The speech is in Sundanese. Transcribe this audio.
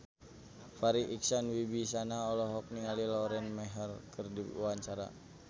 Farri Icksan Wibisana olohok ningali Lauren Maher keur diwawancara